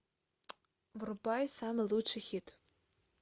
врубай самый лучший хит